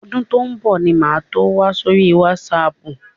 Ọdún tó ń bọ̀ ni màá tó wà sórí wásaàpù.